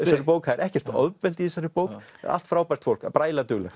bók það er ekkert ofbeldi í þessari bók allt frábært fólk bara ægilega duglegt